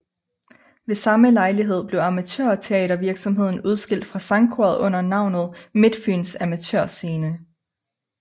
Ved samme lejlighed blev amatørteatervirksomheden udskilt fra sangkoret under navnet Midtfyns Amatør Scene